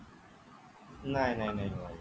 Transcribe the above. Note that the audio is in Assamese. নাই নাই নাই নোৱাৰিব